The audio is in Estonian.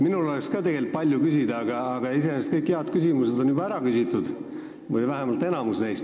Minul oleks ka palju küsida, aga kõik head küsimused või vähemalt enamik neist on juba ära küsitud.